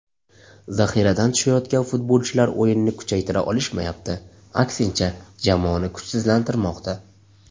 Zaxiradan tushayotgan futbolchilar o‘yinni kuchaytira olishmayapti, aksincha, jamoani kuchsizlantirmoqda.